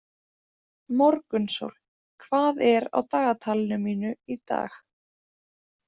Morgunsól, hvað er á dagatalinu mínu í dag?